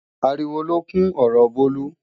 Ariwo lókún ọ̀rọ Bólú.